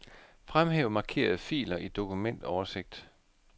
Fremhæv markerede filer i dokumentoversigt.